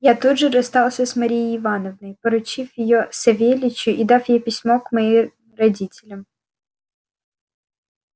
я тут же расстался с марией ивановной поручив её савельичу и дав ей письмо к моим родителям